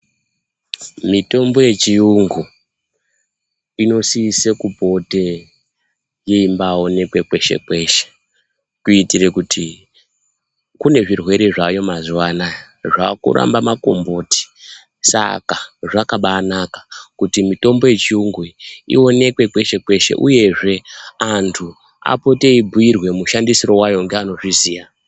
Mitombo yechiyungu, inosise kupote yeimbawonekwa kweshe-kweshe, kuyitire kuti kune zvirwere zvaayo mazuwa anaya, zvakuramba makomboti saka zvakabaanaka kuti mitombo yechiyungu iwonekwe kweshe-kweshe, uyezve antu apote eyibhuyirwe mushandisiro wayo ngeanozviziya.